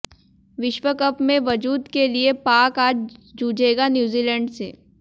विश्वकप में वजूद के लिये पाक अाज जूझेगा न्यूजीलैंड से